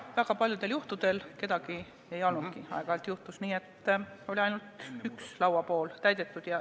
Väga paljudel juhtudel kedagi ei olnudki, aeg-ajalt juhtus nii, et oli ainult üks lauapool täidetud.